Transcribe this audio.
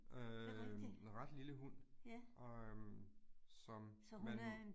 Øh en ret lille hund og øh, som man